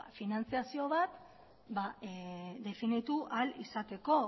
finantzazio bat definitu ahal izateko